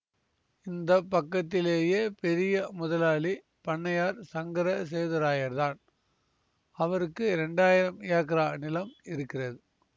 இந்த பக்கத்திலேயே பெரிய முதலாளி பண்ணையார் சங்கர சேதுராயர்தான் அவருக்கு இரண்டாயிரம் ஏக்ரா நிலம் இருக்கிறது